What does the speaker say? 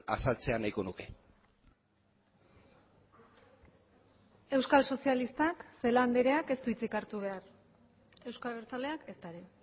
azaltzea nahiko nuke euskal sozialistak celaá andreak ez du hitzik hartu behar euzko abertzaleak ezta ere